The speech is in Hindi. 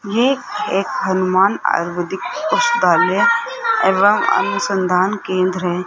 ये एक हनुमान आयुर्वेदिक पुस्तकालय एवं अनुसंधान केंद्र है।